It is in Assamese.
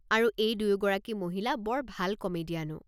আৰু এই দুয়োগৰাকী মহিলা বৰ ভাল কমেডিয়ানো।